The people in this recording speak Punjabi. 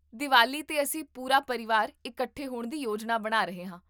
ਦੀਵਾਲੀ 'ਤੇ, ਅਸੀਂ ਪੂਰਾ ਪਰਿਵਾਰ ਇਕੱਠੇ ਹੋਣ ਦੀ ਯੋਜਨਾ ਬਣਾ ਰਹੇ ਹਾਂ